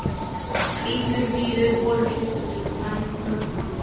Hvítur, víður bolur og stuttbuxur með grænum og fjólubláum blómum.